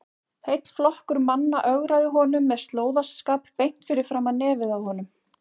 Heill flokkur manna ögraði honum með slóðaskap beint fyrir framan nefið á honum!